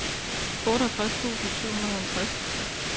otteogtres tusind syv hundrede og halvtreds